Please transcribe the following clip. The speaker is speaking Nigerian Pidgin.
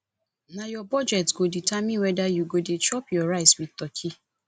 na your budget go determine whether you go dey chop your rice with turkey